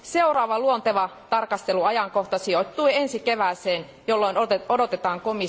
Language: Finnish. Seuraava luonteva tarkasteluajankohta sijoittuu ensi kevääseen, jolloin odotetaan komission väliraporttia.